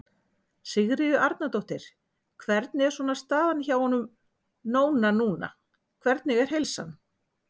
Sigríður Arnardóttir: Hvernig er svona staðan hjá honum Nóna núna, hvernig er heilsan?